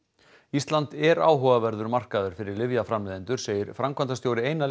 ísland er áhugaverður markaður fyrir lyfjaframleiðendur segir framkvæmdastjóri eina